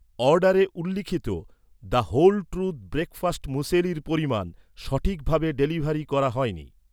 অর্ডারে উল্লিখিত, the whole truth breakfast মুসেলির পরিমাণ, সঠিকভাবে ডেলিভারি করা হয়নি